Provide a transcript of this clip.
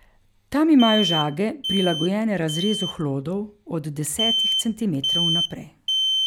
Tam imajo žage prilagojene razrezu hlodov od desetih centimetrov naprej.